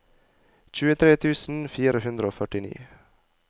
tjuetre tusen fire hundre og førtini